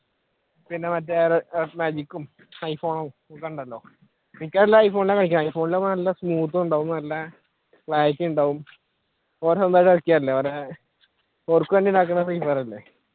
പിന്നെ മറ്റേ ഇതുണ്ടല്ലോ എല്ലാവരും iphone നാണ് കളിക്കുന്ന ആകുമ്പ നല്ല smooth ഉണ്ടാകും നല്ല clarity ഉണ്ടാകും